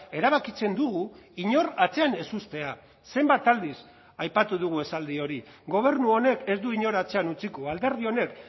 erabakitzen dugu inor atzean ez uztea zenbat aldiz aipatu dugu esaldi hori gobernu honek ez du inor atzean utziko alderdi honek